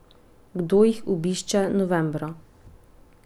Kdo jih obišče novembra?